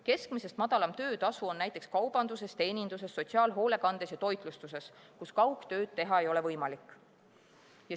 Keskmisest madalam töötasu on näiteks kaubanduses, teeninduses, sotsiaalhoolekandes ja toitlustuses, kus kaugtööd teha ei ole võimalik.